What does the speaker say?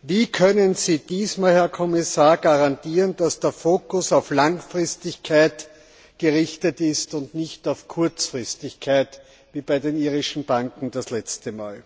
Wie können Sie diesmal, Herr Kommissar, garantieren, dass der Fokus auf Langfristigkeit gerichtet ist und nicht auf Kurzfristigkeit wie bei den irischen Banken das letzte Mal?